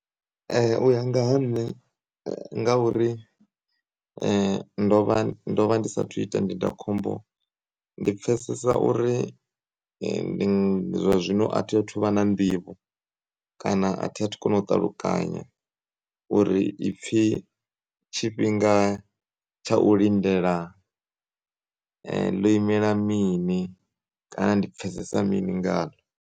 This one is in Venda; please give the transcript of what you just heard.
Uya nga ha nṋe ngauri ndovha, ndovha ndi sathu ita ndindakhombo, ndi pfesesa uri zwa zwino athi athuvha na nḓivho kana athi athu kono ṱalukanya uri ipfi tshifhinga tsha u lindela, ḽo imela mini kana ndi pfesesa mini ngaḽo.